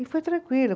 E foi tranquilo.